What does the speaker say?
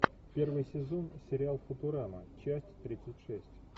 первый сезон сериал футурама часть тридцать шесть